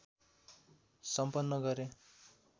सम्पन्न गरे।